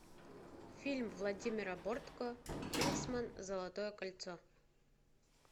фильм владимира бортко кингсмен золотое кольцо